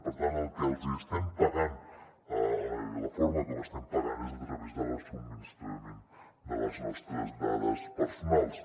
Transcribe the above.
per tant el que els estem pagant la forma com estem pagant és a través del subministrament de les nostres dades personals